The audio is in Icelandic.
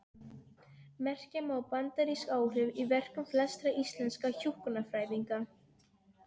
Merkja má bandarísk áhrif í verkum flestra íslenskra hjúkrunarfræðinga.